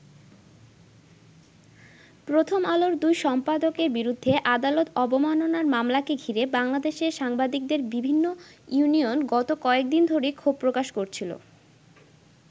প্রথম আলোর দুই সম্পাদকের বিরুদ্ধে আদালত অবমাননার মামলাকে ঘিরে বাংলাদেশের সাংবাদিকদের বিভিন্ন ইউনিয়ন গত কয়েকদিন ধরেই ক্ষোভ প্রকাশ করছিল।